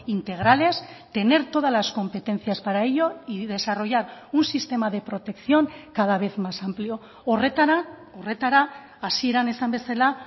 integrales tener todas las competencias para ello y desarrollar un sistema de protección cada vez más amplio horretara horretara hasieran esan bezala